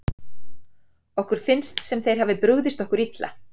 Okkur finnst sem þeir hafi brugðist okkur illa.